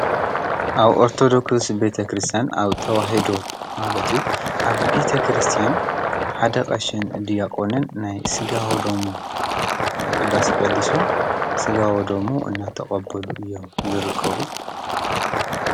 ኣብ ኦርተዶክስ ቤተ ክርስትያን ኣብ ተዋህዶ ማለት እዩ ኣብ ቤተ ክርስትያን ሓደ ቐሽን ዲያቆንን ናይ ስጋ ወ ደሙ ቅዳሴ ቀዲሶ ስጋ ወደሙ እናተቀበሉ እዮም ዝርከቡ።